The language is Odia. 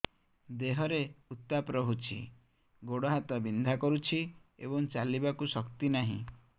ଦେହରେ ଉତାପ ରହୁଛି ଗୋଡ଼ ହାତ ବିନ୍ଧା କରୁଛି ଏବଂ ଚାଲିବାକୁ ଶକ୍ତି ନାହିଁ